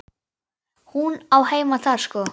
Hún á heima þar sko.